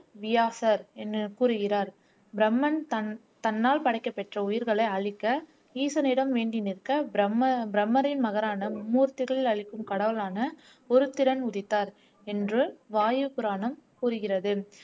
வியாசர் என்று கூறுகிறார் பிரம்மன் தன் தன்னால் படைக்கப்பெற்ற உயிர்களை அழிக்க ஈசனிடம் வேண்டி நிற்க பிரம்ம பிரம்மரின் மகரான மும்மூர்த்திகள் அளிக்கும் கடவுளான ஒரு திறன் உதித்தார் என்று வாயு புராணம் கூறுகிறது